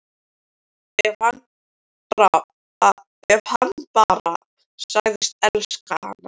Ef hann bara segðist elska hana: